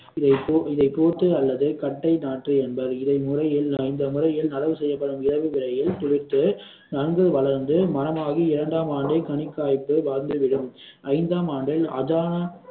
இதை போட்டு இதை போட்டு அல்லது கட்டை நாற்று என்பர் இதை முறையில் இந்த முறையில் நடவு செய்யப்படும் இலவு விரைவில் துளிர்த்து நன்கு வளர்ந்து மரமாகி இரண்டாம் ஆண்டு கனிக்காய்ப்பு வந்துவிடும் ஐந்தாம் ஆண்டில் அதான